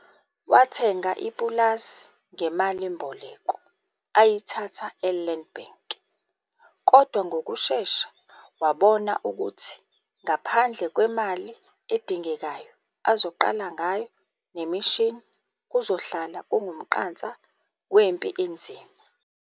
Wathenga ipulazi ngemalimboleko ayithatha e-Land Bank kodwa ngokushesha wabona ukuthi ngaphandle kwemali edingekayo azoqala ngayo nemishini kuzohlala kungumqansa wempi enzima.